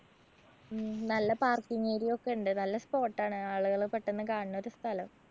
ഉം നല്ല parking area ഒക്കെ ഉണ്ട്. നല്ല spot ആണ്. ആളുകള് പെട്ടന്ന് കാണുന്നൊരു സ്ഥലം.